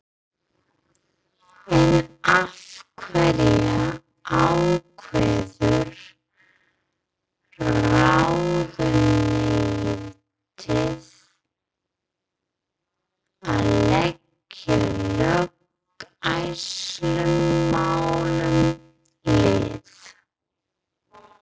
En af hverju ákveður ráðuneytið að leggja löggæslumálum lið?